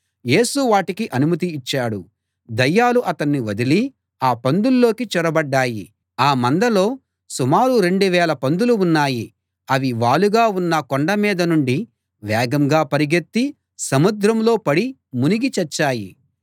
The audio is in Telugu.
యేసు వాటికి అనుమతి ఇచ్చాడు దయ్యాలు అతణ్ణి వదిలి ఆ పందుల్లోకి చొరబడ్డాయి ఆ మందలో సుమారు రెండు వేల పందులు ఉన్నాయి అవి వాలుగా ఉన్న కొండమీద నుండి వేగంగా పరుగెత్తి సముద్రంలో పడి మునిగి చచ్చాయి